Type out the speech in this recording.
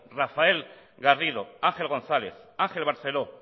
rafael garrido ángel gonzález ángel barceló